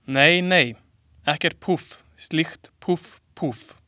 Nei, nei, ekkert, púff, slíkt, púff, púff.